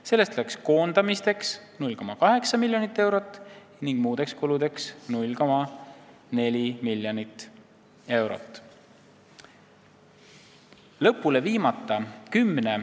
Sellest läks koondamisteks 0,8 miljonit eurot ning muudeks kuludeks 0,4 miljonit eurot.